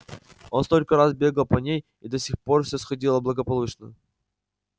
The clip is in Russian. он столько раз бегал по ней и до сих пор всё сходило благополучно